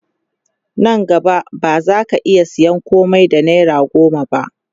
Nan gaba ba zaka iya sayan komai da naira goma ba